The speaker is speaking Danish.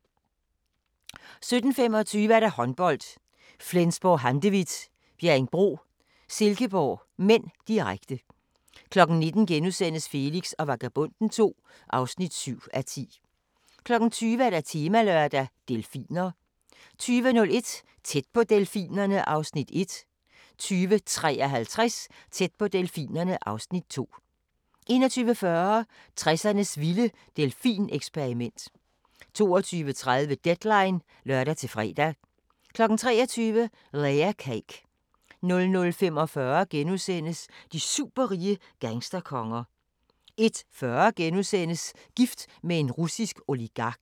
17:25: Håndbold: Flensburg-Handewitt - Bjerringbro-Silkeborg (m), direkte 19:00: Felix og Vagabonden II (7:10)* 20:00: Temalørdag: Delfiner 20:01: Tæt på delfinerne (Afs. 1) 20:53: Tæt på delfinerne (Afs. 2) 21:40: 60'ernes vilde delfineksperiment 22:30: Deadline (lør-fre) 23:00: Layer Cake 00:45: De superrige gangsterkonger * 01:40: Gift med en russisk oligark *